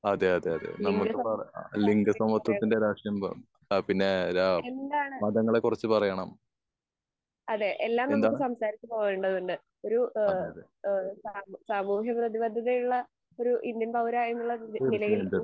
അതെ അതെ അതെ നമുക്ക് അല്ലെങ്കിൽ ഇതിപ്പോ മൊത്തത്തിന്റെ രാഷ്ട്രീയം ആഹ് പിന്നെ ഏഹ് മതങ്ങളെ കുറിച്ച് പറയണം. എന്താണ്? അതെ അതെ. തീർച്ചയായിട്ടും തീർച്ച.